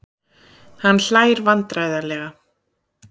Hann hlær vandræðalega.